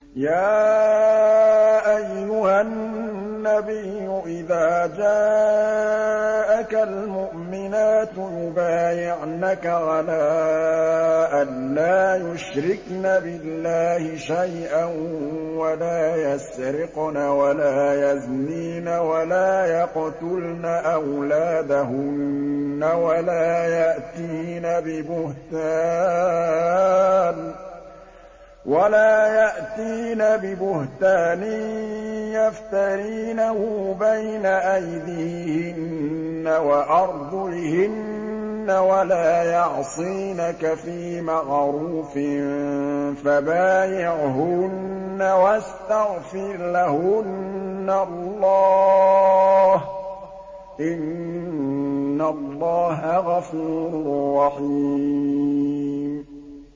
يَا أَيُّهَا النَّبِيُّ إِذَا جَاءَكَ الْمُؤْمِنَاتُ يُبَايِعْنَكَ عَلَىٰ أَن لَّا يُشْرِكْنَ بِاللَّهِ شَيْئًا وَلَا يَسْرِقْنَ وَلَا يَزْنِينَ وَلَا يَقْتُلْنَ أَوْلَادَهُنَّ وَلَا يَأْتِينَ بِبُهْتَانٍ يَفْتَرِينَهُ بَيْنَ أَيْدِيهِنَّ وَأَرْجُلِهِنَّ وَلَا يَعْصِينَكَ فِي مَعْرُوفٍ ۙ فَبَايِعْهُنَّ وَاسْتَغْفِرْ لَهُنَّ اللَّهَ ۖ إِنَّ اللَّهَ غَفُورٌ رَّحِيمٌ